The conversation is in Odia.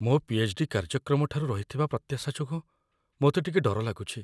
ମୋ ପିଏଚ୍.ଡି. କାର୍ଯ୍ୟକ୍ରମ ଠାରୁ ରହିଥିବା ପ୍ରତ୍ୟାଶା ଯୋଗୁଁ ମୋତେ ଟିକେ ଡର ଲାଗୁଛି।